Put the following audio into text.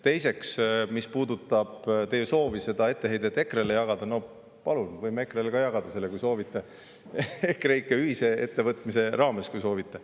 Teiseks, mis puudutab teie soovi seda etteheidet EKRE‑le jagada, siis no palun, võime EKRE-le ka selle jagada, kui soovite , EKREIKE ühise ettevõtmise raames, kui soovite.